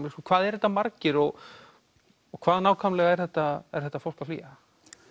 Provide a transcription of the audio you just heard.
hvað eru þetta marir og hvað nákvæmlega er þetta er þetta fólk að flýja